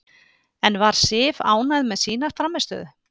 En var Sif ánægð með sína frammistöðu?